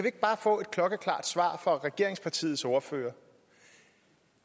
ikke bare få et klokkeklart svar fra regeringspartiets ordfører